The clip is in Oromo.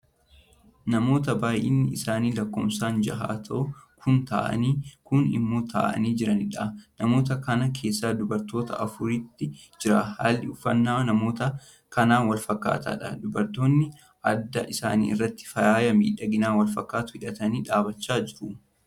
Namoota baay'inni isaanii lakkoofsan jaha ta'e kuun taa'anii Kuni immoo taa'anii jiraniidha. namoota kana keessa dubartoota afuritu jira. halli uffannaa namoota kanaa walfakkaataadha. dubartoonni adda isaanii irraati faaya miidhaginaa walfakkaatu hidhatanii dhaabachaa jiru.